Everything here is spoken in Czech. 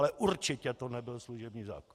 Ale určitě to nebyl služební zákon.